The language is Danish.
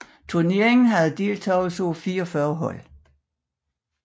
Turneringen havde deltagelse af 44 hold